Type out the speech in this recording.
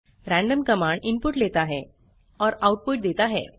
random command input लेता है और आउटपुट देता है